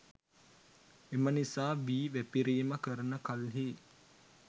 එම නිසා වී වැපිරීම කරන කල්හි